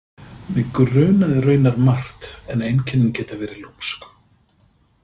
Mig grunaði raunar margt en einkennin geta verið lúmsk.